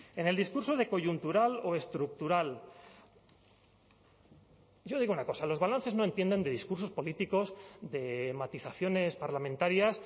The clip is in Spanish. en el discurso de coyuntural o estructural yo digo una cosa los balances no entienden de discursos políticos de matizaciones parlamentarias